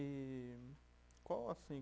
E qual assim